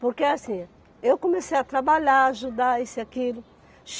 Porque assim, eu comecei a trabalhar, ajudar, isso e aquilo.